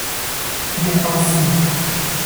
Ne pa vsi.